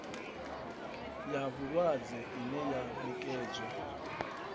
ya vhulwadze ine ya nekedzwa